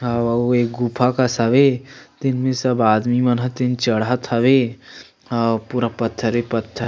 आउ आउ ये गुफा कस हवे तेन में सब आदमी मन ह तेन चढ़त हवे आऊ पूरा पत्थरे-पत्थरे--